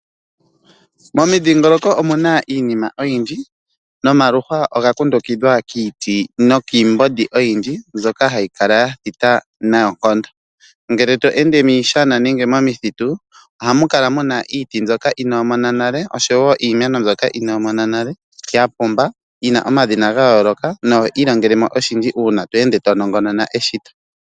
Momudhingoloko omuna iinima oyindji nomaluhwa ngoka ga kundukidhwa kiiti nookiimbondi oyindji mbyoka hayi kala ya thita noonkondo ngele to ende miishana nenge momithitu ohamu kala muna iiti mbyoka iinomona nale oshowo iimeno mbyono inomona nale ya pumba yi omadhina gayooloka noho ilongelemo oshindji uuna to ende to nongonona eshito.